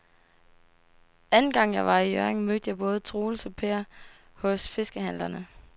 Anden gang jeg var i Hjørring, mødte jeg både Troels og Per hos fiskehandlerne.